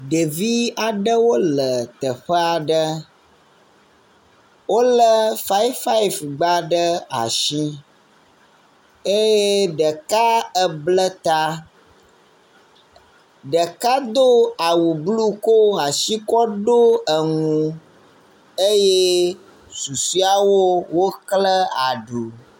Ɖevi aɖewo le teƒe aɖe, wolé faif faif gba ɖe asi eye ɖeka eble ta, ɖeka edo awu blu ko asi kɔ ɖo enu eye susɔewo wokle aɖu.